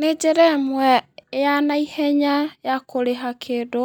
Nĩ njĩra ĩmwe ya naihenya ya kũrĩha kĩndũ,